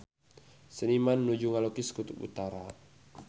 Seniman nuju ngalukis Kutub Utara